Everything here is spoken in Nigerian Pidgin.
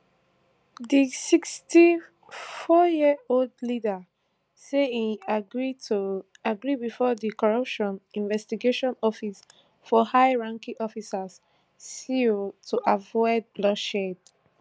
di sixty-fouryearold leader say im agree to agree bifor di corruption investigation office for high ranking officials cio to avoid bloodshed